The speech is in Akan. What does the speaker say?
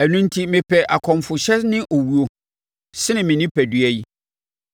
ɛno enti mepɛ akɔmfohyɛ ne owuo, sene me onipadua yi.